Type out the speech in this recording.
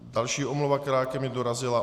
Další omluva, která ke mně dorazila.